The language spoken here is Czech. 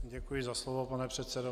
Děkuji za slovo, pane předsedo.